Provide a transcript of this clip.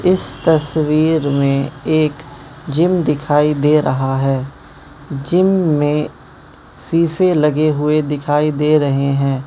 इस तस्वीर में एक जिम दिखाई दे रहा है जिम में शीशे लगे हुए दिखाई दे रहे हैं।